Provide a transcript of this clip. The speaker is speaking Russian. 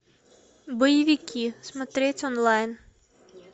боевики смотреть онлайн